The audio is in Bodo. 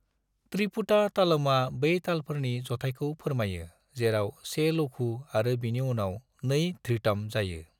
त्रिपुटा तालमआ बै तालफोरनि जथायखौ फोरमायो जेराव 1 लघु आरो बिनि उनाव 2 धृतम जायो।